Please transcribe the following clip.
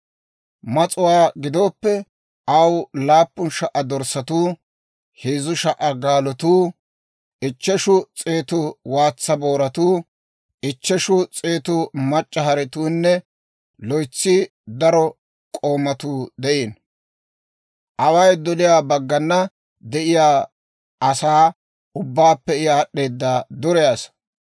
Mas'uwaa gidooppe, aw laappun sha"u dorssatuu, heezzu sha"u gaalotuu, ichcheshu s'eetu waatsa booratuu, ichcheshu s'eetu mac'c'a haretuunne loytsi daro k'oomatuu de'iino. Away doliyaa baggana de'iyaa asaa ubbaappe I aad'd'eeda dure asaa.